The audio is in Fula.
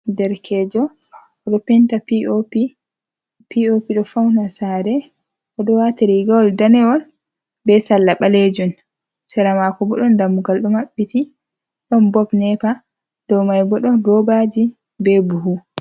Derkejo o ɗo penta pop. POP ɗo fauna saare, o ɗo wati rigawol danewol be sarla balejun. Sera mako bo ɗon dammugal ɗo maɓɓiti, ɗon bob nepa, dow mai bo ɗon robaji be buhu.